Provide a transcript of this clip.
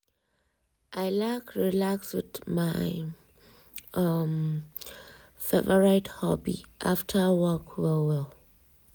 i like relax with my um favorite hobby after work well well.